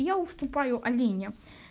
я уступаю алине